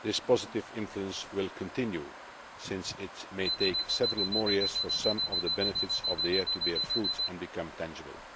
This positive influence will continue, since it may take several more years for some of the benefits of the Year to bear fruit and become tangible.